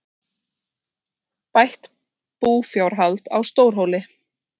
Bætt búfjárhald á Stórhóli